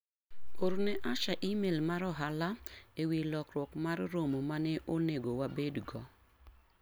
Orne Asha imel mar ohala ewi lokruok mar romo mane onego wabed go.